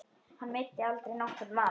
Hann meiddi aldrei nokkurn mann.